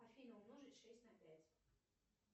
афина умножить шесть на пять